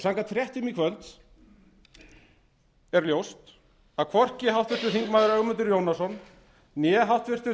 samkvæmt fréttum í kvöld er ljóst að hvorki háttvirtur þingmaður ögmundur jónasson né háttvirtur